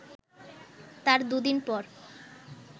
তার দু’দিন পর